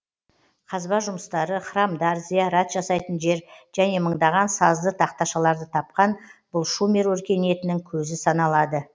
қазба жұмыстары храмдар зиярат жасайтын жер және мыңдаған сазды тақташаларды тапқан бұл шумер өркениетінің көзі саналады